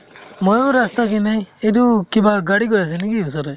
ময়ো ৰাস্তা ৰ পিনে। এইটো কিবা গাড়ী গৈ আছে নেকি ওচৰেৰে?